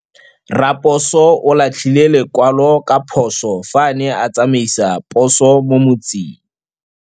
Raposo o latlhie lekwalô ka phosô fa a ne a tsamaisa poso mo motseng.